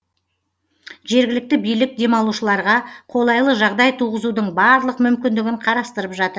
жергілікті билік демалушыларға қолайлы жағдай туғызудың барлық мүмкіндігін қарастырып жатыр